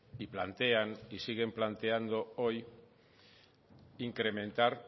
y plantean y siguen planteando hoy incrementar